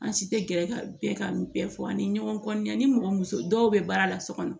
An si tɛ gɛrɛ ka bɛɛ ka bɛɛ fɔ ani ɲɔgɔncɛ ani mɔgɔ muso dɔw bɛ baara la so kɔnɔ